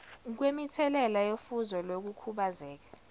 kwemithelela yofuzo lokukhubazeka